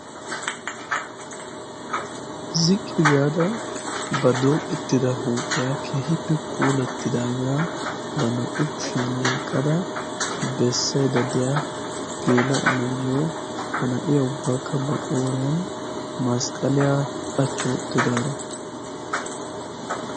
ziqqi gaada ba dooqettida huuphiyaa kehippe poolattidaagaa ba naa'u kushiyan oyqqada beessay daddeya geela onayyo ha na'iya ubbaakka ba qooriyan masqqaliyaa qachchuwa uttidaaro